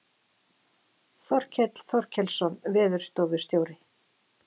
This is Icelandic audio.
Þorkell Þorkelsson veðurstofustjóri.